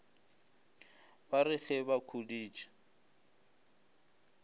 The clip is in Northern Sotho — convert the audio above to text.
ba re ge ba khuditše